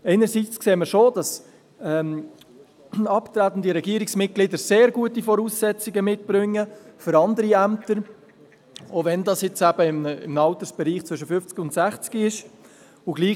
Einerseits sehen wir schon, dass abtretende Regierungsmitglieder sehr gute Voraussetzungen für andere Ämter mitbringen, auch wenn dies eben im Altersbereich zwischen 50 und 60 Jahren ist.